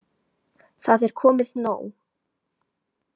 Það er komið nóg.